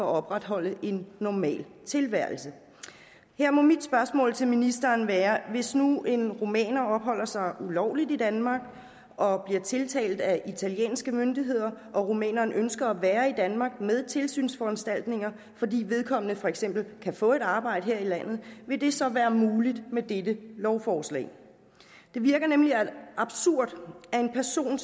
at opretholde en normal tilværelse her må mit spørgsmål til ministeren være hvis nu en rumæner opholder sig ulovligt i danmark og bliver tiltalt af italienske myndigheder og rumæneren ønsker at være i danmark med tilsynsforanstaltninger fordi vedkommende for eksempel kan få et arbejde her i landet vil det så være muligt med dette lovforslag det virker nemlig absurd at en person